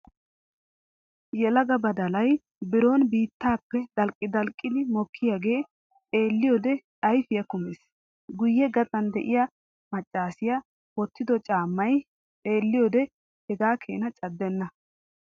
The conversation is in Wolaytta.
Yelaga badalay biron biittaappe dalqqi dalqqiidi mokkiyaagee xeelliyoode ayfiyaa kummees. Guyye gaxan de'iyaa maccaasiyaa wottido caamay xeelliyoode hegaa Keena caddenna.